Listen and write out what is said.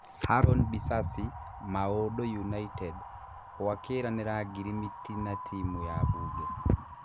Harũni Bisasi: Maũndũ United hũakĩranĩra ngirimiti na timu ya Mbunge.